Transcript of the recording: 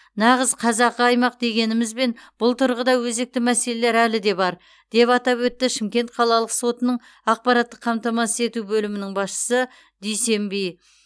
нағыз қазақы аймақ дегенімізбен бұл тұрғыда өзекті мәселелер әлі де бар деп атап өтті шымкент қалалық сотының ақпараттық қамтамасыз ету бөлімінің басшысы дүйсенби